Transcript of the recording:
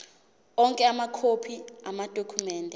onke amakhophi amadokhumende